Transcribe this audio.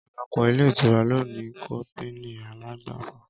Ọpọlọpọ ilé ìtura lòní kọpìní àlàgbàfọ